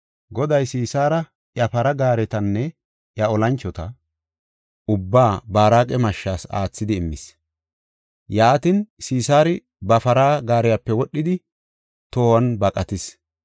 Goday Sisaara, iya para gaaretanne iya olanchota ubbaa Baaraqa mashshas aathidi immis. Yaatin, Sisaari ba para gaariyape wodhidi tohon baqatis.